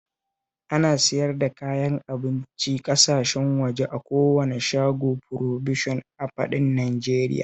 Ana siyar da kayan abincin ƙasashen waje a kowane shagon furobishan a faɗin Najeriya